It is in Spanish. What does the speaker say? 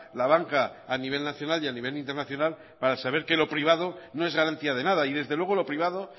la banca a nivel nacional y a nivel internacional para saber que lo privado no es garantía de nada y desde luego lo privado